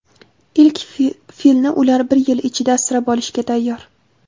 Ilk filni ular bir yil ichida asrab olishga tayyor.